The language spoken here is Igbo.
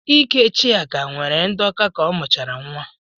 Íkè Chiaka nwere ndọka ka ọ mụchara nwa.